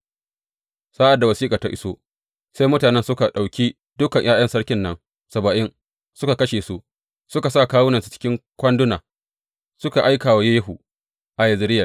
Sa’ad da wasiƙar ta iso, sai mutanen nan suka ɗauki dukan ’ya’yan sarkin nan saba’in, suka kashe su, suka sa kawunansu cikin kwanduna, suka aika wa Yehu a Yezireyel.